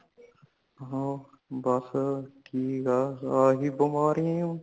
ਹਾਂ ਬੱਸ ਠੀਕ ਹੇ ,ਇਹੀ ਬਿਮਾਰੀਆਂ